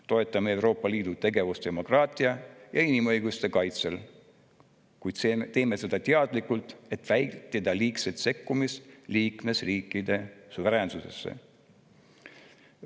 Toetame Euroopa Liidu tegevust demokraatia ja inimõiguste kaitsel, kuid teeme seda teadlikult, et vältida liigset sekkumist liikmesriikide suveräänsusesse.